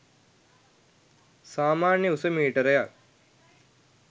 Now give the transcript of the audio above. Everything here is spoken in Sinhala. සාමාන්‍ය උස මීටරයක්